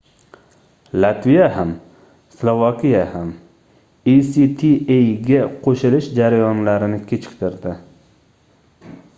latviya ham slovakiya ham actaga qoʻshilish jarayonlarini kechiktirdi